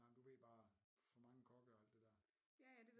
Nej men du ved bare for mange kokke og alt det dér